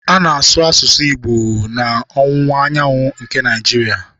A na-asụ asụsụ Igbo n'ọwụwa anyanwụ nke Naịjiria.